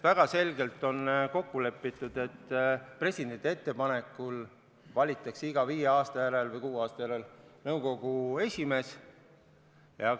Väga selgelt on kokku lepitud, et nõukogu esimees valitakse presidendi ettepanekul iga viie aasta järel või kuue aasta järel.